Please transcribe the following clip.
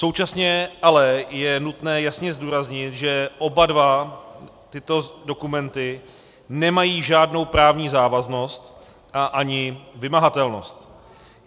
Současně ale je nutné jasně zdůraznit, že oba dva tyto dokumenty nemají žádnou právní závaznost a ani vymahatelnost.